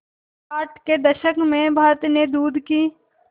साठ के दशक में भारत में दूध की